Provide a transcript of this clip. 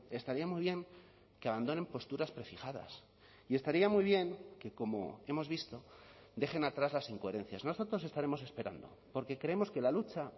estaría muy bien que abandonen posturas prefijadas y estaría muy bien que como hemos visto dejen atrás las incoherencias nosotros estaremos esperando porque creemos que la lucha